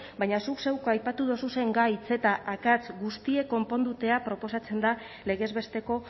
baina zuk zeuk aipatu duzuzen gai eta akats guztiak konponduta proposatzen da legez besteko